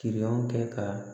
Kirinanw kɛ ka